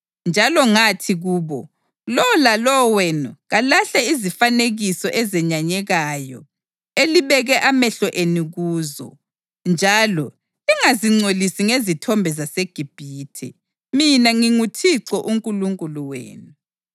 Njalo ngathi kubo, “Lowo lalowo wenu kalahle izifanekiso ezenyanyekayo elibeke amehlo enu kuzo, njalo lingazingcolisi ngezithombe zaseGibhithe. Mina nginguThixo uNkulunkulu wenu.”